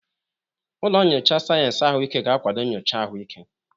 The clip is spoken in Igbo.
Ụlọ nyocha sayensị ahụike ga-akwado nyocha ahụike.